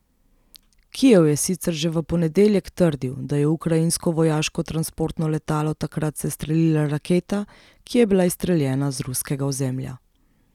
Kijev je sicer že v ponedeljek trdil, da je ukrajinsko vojaško transportno letalo takrat sestrelila raketa, ki je bila izstreljena z ruskega ozemlja.